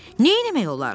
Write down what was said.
Neynəmək olar?